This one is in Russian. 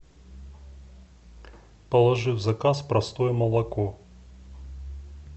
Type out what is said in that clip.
положи в заказ простое молоко